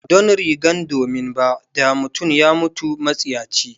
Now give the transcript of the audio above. Ba don rigar domin ba, da mutum ya mutu matsiyaci.